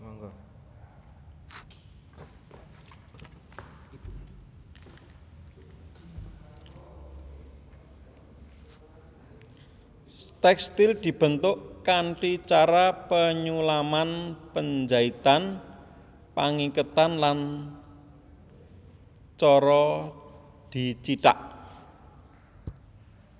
Tèkstil dibentuk kanthi cara penyulaman penjaitan pangiketan lan cara dicithak